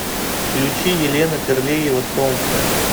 включи елена терлеева солнце